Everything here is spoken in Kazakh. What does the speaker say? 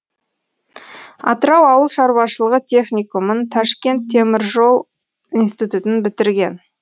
атырау ауыл шаруашылығы техникумын ташкент темір жол институтын бітірген